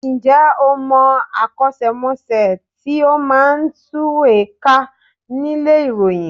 Ǹjẹ́ o mọ akọ́ṣẹ́mọṣẹ́ tí ó máa ń tùwèé kà nílé ìròyìn?